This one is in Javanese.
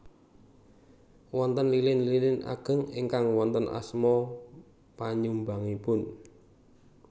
Wonten lilin lilin ageng ingkang wonten asma penyumbangipun